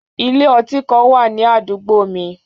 Ile-ọti kan wa ni adugbo mi.